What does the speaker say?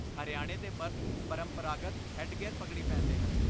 ਹਰਿਆਣੇ ਦੇ ਮਰਦ ਪਰੰਪਰਾਗਤ ਹੈੱਡਗੇਅਰ ਪਗੜੀ ਪਹਿਨਦੇ ਹਨ।